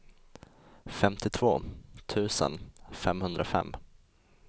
femtiotvå tusen femhundrafem